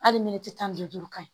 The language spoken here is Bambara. Hali tan ni duuru ka ɲi